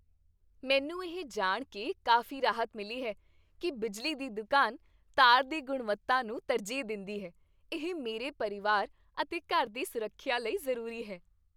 ਮੈਨੂੰ ਇਹ ਜਾਣ ਕੇ ਕਾਫ਼ੀ ਰਾਹਤ ਮਿਲੀ ਹੈ ਕੀ ਬਿਜਲੀ ਦੀ ਦੁਕਾਨ ਤਾਰ ਦੀ ਗੁਣਵੱਤਾ ਨੂੰ ਤਰਜੀਹ ਦਿੰਦੀ ਹੈ। ਇਹ ਮੇਰੇ ਪਰਿਵਾਰ ਅਤੇ ਘਰ ਦੀ ਸੁਰੱਖਿਆ ਲਈ ਜ਼ਰੂਰੀ ਹੈ।